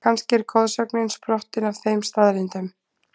Kannski er goðsögnin sprottin af þeim staðreyndum?